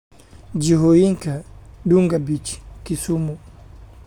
jihooyinka Dunga Beach Kisumu